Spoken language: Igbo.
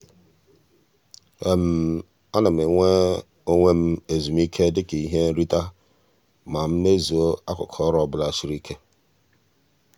a na m enye onwe m ezumike dịka ihe nrite ma m mezuo akụkụ ọrụ ọbụla siri ike.